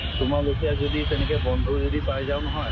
তোমাৰ লেখিয়া যদি তেনেকে বন্ধু যদি পাই যাওঁ নহয়